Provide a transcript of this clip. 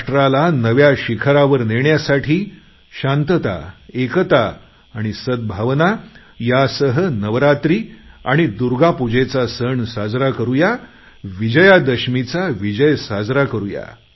राष्ट्राला नव्या शिखरावर नेण्यासाठी शांतता एकता सद्भावना यासह नवरात्री आणि दुर्गापूजेचा सण साजरा करूया विजयादशमीचा विजय साजरा करुया